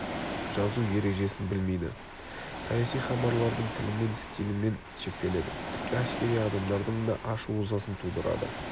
жазу ережесін білмейді саяси хабарлардың тілімен стилімен шектеледі тіпті әскери адамдардың да ашу-ызасын тудырады